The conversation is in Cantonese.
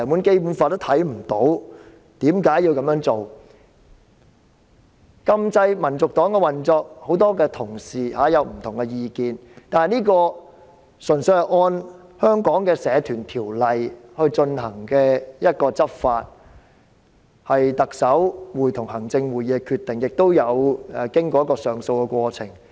很多同事對於禁止香港民族黨的運作有不同意見，但是，這純粹是按照香港的《社團條例》來執法，是特首會同行政會議的決定，亦有經過上訴的過程。